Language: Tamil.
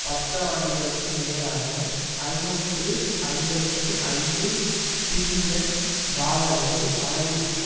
பத்து ஆண்டுகளுக்கு மேலாக ஐநூற்று ஐம்பத்தி ஐந்து பில்லியன் டாலர்கள் அளவிற்கு